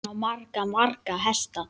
Hann á marga, marga hesta.